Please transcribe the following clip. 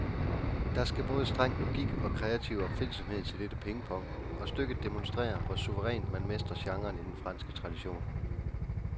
Der skal både streng logik og kreativ opfindsomhed til dette pingpong, og stykket demonstrerer, hvor suverænt man mestrer genren i den franske tradition.